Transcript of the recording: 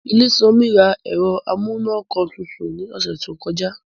Ilésanmí ra ẹ̀rọ amúǹkantutù ní ọ̀sẹ̀ tó kọjá